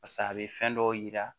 Pasa a bɛ fɛn dɔw yira